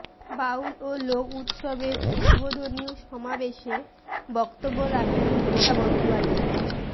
বাউল ও লোক উৎসবের উদ্বোধনী সমাবেশে বক্তব্য রাখেন মমতা বন্দোপাধ্যায়